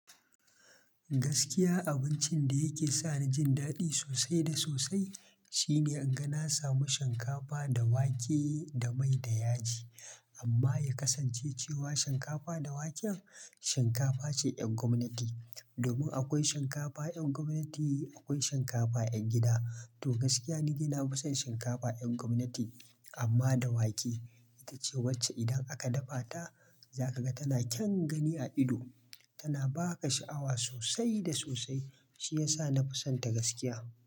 Gaskiya abincin da yake sa ni jin daɗi sosai da sosai, shine inga na samu shinkafa da wake da mai da yaji. Amma ya kasance cewa shinkafa da waken, shinkafa ce ƴan gwamnati. Domin akwai shinkafa ƴan gwamnati akwai shinkafa ƴan gida. To gaskiya ni dai nafi san shinkafa ƴan gwamnati, amma da wake. Ita ce wacce idan aka dafa ta, za ka ga tana kyan gani a ido. Tana ba ka sha'awa sosai da sosai, shi ya sa na fi son ta gaskiya.